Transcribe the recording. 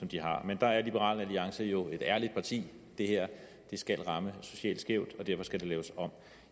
de har men der er liberal alliance jo et ærligt parti det her skal ramme socialt skævt og derfor skal det laves om